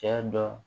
Cɛ dɔ